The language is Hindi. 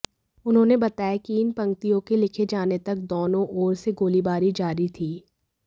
उन्होंने बताया कि इन पंक्तियों के लिखे जाने तक दोनों ओर से गोलीबारी जारी थी